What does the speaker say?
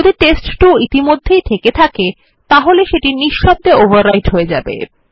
যদি টেস্ট2 ইতিমধ্যেই থেকে থাকে তাহলে নিশব্দভাবে ওভাররাইট হয়ে যায়